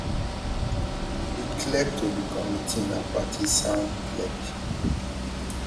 di clerk to di committee na partisan clerk